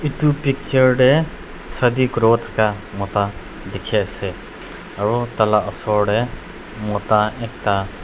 edu picture tae Sadi kuriwo thaka mota dikhiase aro tala osor tae mota ekta--